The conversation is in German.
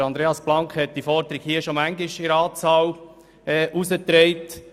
Andreas Blank hat diese Forderung schon oft in den Ratssaal getragen.